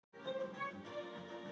Bogi hefur áhuga á tónlist.